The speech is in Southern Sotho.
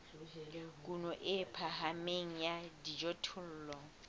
kuno e phahameng ya dijothollo